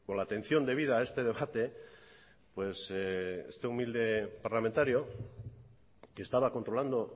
la atención debida a este debate pues este humilde parlamentario que estaba controlando